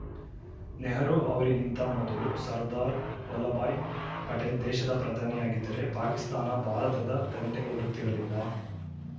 ನೆಹರು ಅವರಿಗಿಂತ ಮೊದಲು ಸರ್ದಾರ್‌ ವಲ್ಲಭಾಯಿ ಪಟೇಲ್‌ ದೇಶದ ಪ್ರಧಾನಿಯಾಗಿದ್ದರೆ ಪಾಕಿಸ್ತಾನ ಭಾರತದ ತಂಟೆಗೆ ಬರುತ್ತಿರಲಿಲ್ಲ